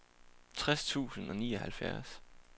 tres tusind og nioghalvfjerds